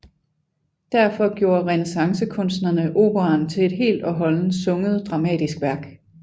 Derfor gjorde renæssancekunstnerne operaen til et helt og holdent sunget dramatisk værk